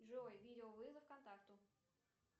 джой видеовызов контакту